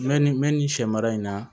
Mɛ ni mɛ nin sɛ mara in na